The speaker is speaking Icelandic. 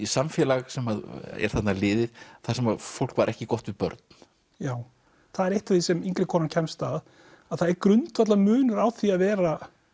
samfélag sem er þarna liðið þar sem að fólk var ekki gott við börn já það er eitt af því sem yngri konan kemst að að það er grundvallar munur á því að vera